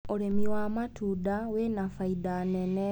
ũrĩmi wa matunda wĩna bainda nene.